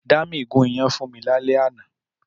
Dámi gùn iyán fún mi lálẹ́ àná